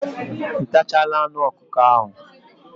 Ị tachala anụ ọkụkọ ahụ?